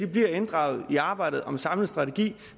bliver inddraget i arbejdet om en samlet strategi